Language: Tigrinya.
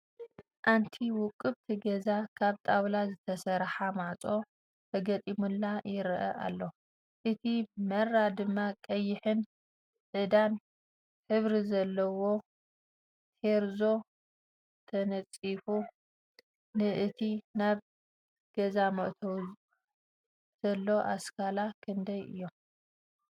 ኣንቲ ውቅብቲ ገዛ ካብጣውላ ዝተሰረሓ ማዕፆ ተገጢሙላ ይረኣ አሎ ።እቲ መራ ድማ ቀይሕን 'ዕዳን ሕብሪ ዘለዎ ቴራዞ ተነፂፉ ። ንእቲ ናብ ገዛ መእተዊ ዘሎ ኣስካላ ክንደይ እዮም ?